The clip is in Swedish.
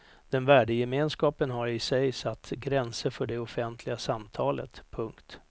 Den värdegemenskapen har i sig satt gränser för det offentliga samtalet. punkt